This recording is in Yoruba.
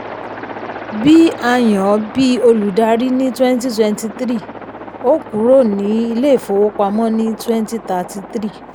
bí a yàn ọ́ bí olùdarí ní twenty twenty three o kúrò ní ilé ìfowópamọ́ ní twenty thirty three.